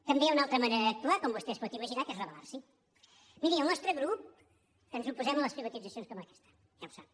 també hi ha una altra manera d’actuar com vostè es pot imaginar que és rebelens oposem a les privatitzacions com aquesta ja ho sap